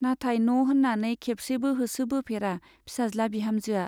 नाथाय न' होन्नानै खेबसेबो होसोबोफेरा फिसाज्ला-बिहामजोआ।